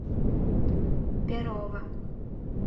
перова